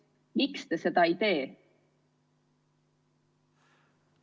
Miks te seda ei tee?